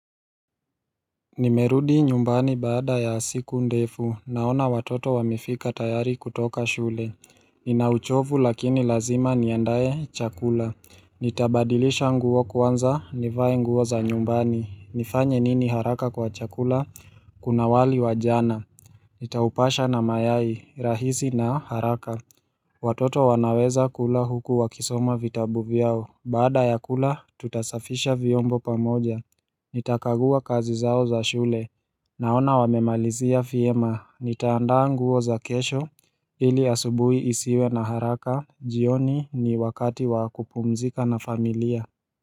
Nimerudi nyumbani baada ya siku ndefu naona watoto wamefika tayari kutoka shule Nina uchovu lakini lazima niandae chakula Nitabadilisha nguo kwanza nivae nguo za nyumbani nifanye nini haraka kwa chakula Kuna wali wa jana Nitaupasha na mayai rahisi na haraka Watoto wanaweza kula huku wakisoma vitabu vyao baada ya kula tutasafisha vyombo pamoja Nitakagua kazi zao za shule Naona wamemalizia fyema, nitaandaa nguo za kesho ili asubui isiwe na haraka, jioni ni wakati wa kupumzika na familia.